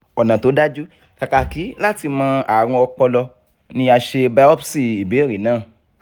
ọ̀nà tó dájú kákàkí láti mọ̀ àrùn ọpọlọ ni a ṣe biopsi ìbèèrè naa